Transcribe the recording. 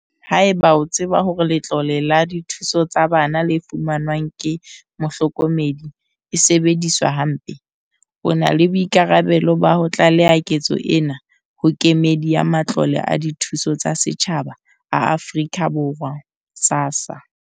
Haeba o tseba hore letlole la dithuso tsa bana le fumanwang ke mohlokomedi e sebediswa hampe, o na le boikarabelo ba ho tlaleha ketso ena ho Kemedi ya Matlole a Dithuso tsa Setjhaba a Afrika Borwa, SASSA,